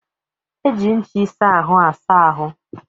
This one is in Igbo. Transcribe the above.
E ji ncha ịsa ahụ asáá ahụ